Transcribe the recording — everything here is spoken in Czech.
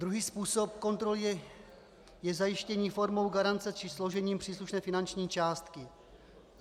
Druhý způsob kontroly je zajištění formou garance či složením příslušné finanční částky.